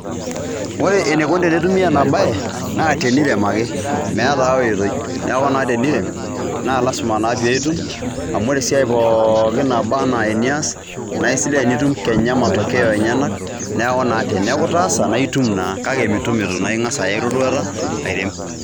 Ore eneikoni tenetumi ena bae, naa tenirem ake. Meetai ai oitoi. Neeku naa tenirem, naa lazima naa pee itum, amu ore esiai pooki naba enaa enias, naa esidai tenitum kenya matokeo enyenak, neeku naa teneeku itaasa, naa aitum naa. Kake mitum eitu naa ing'as aya eroruata airem.